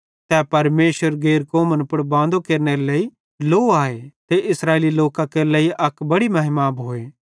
तै परमेशरे गैर कौमन पुड़ बांदो केरनेरे लेइ लो आए ते इस्राएली लोकां केरे लेइ अक बड़ी महिमा आए